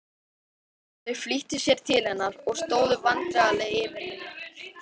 Þau flýttu sér til hennar og stóðu vandræðaleg yfir henni.